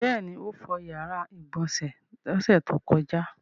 Bẹ́ẹ̀ ni, ó fọ ìyàrá-ìgbọ̀nsẹ̀ lọ́sẹ̀ tó kọjá.